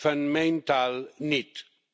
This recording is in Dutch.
van mijn taal niet.